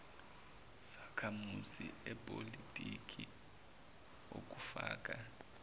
sakhamuzi sepolitiki okufaka